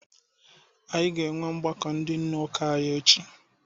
Anyị ga-enwe ọgbakọ ndị nne ụka echi.